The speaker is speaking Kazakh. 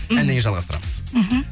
әннен кейін жалғастырамыз мхм